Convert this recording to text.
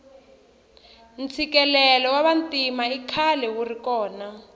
ntshikelelo wa vantima ikhale wuri kona